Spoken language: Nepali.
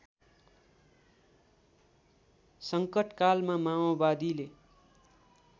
सङ्कटकालमा माओवादीले